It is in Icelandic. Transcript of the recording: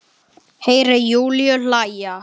Heyri Júlíu hlæja.